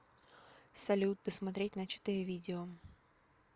салют досмотреть начатое видео